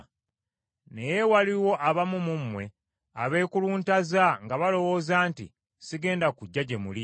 Naye waliwo abamu mu mmwe abeekuluntaza nga balowooza nti sigenda kujja gye muli.